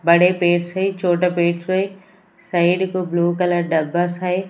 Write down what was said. बड़े पेड़ से छोटा पेड़ से साइड को ब्ल्यू कलर डब्बा है।